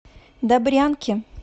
добрянки